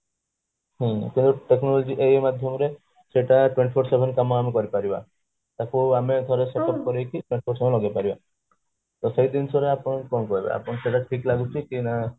ହୁଁ ତେଣୁ technology ଏଇ ମାଧ୍ୟମ re ସେଟା twenty four କାମ ଆମେ କରିପାରିବା ତାକୁ ଆମେ ଲଗେଇପାରିବା ତ ସେଇ ଜିନିଷ ରେ ଆପଣ କଣ କରିବେ ଆପଣଙ୍କୁ ସେଟା ଠିକ ଲାଗୁଛି କି ନା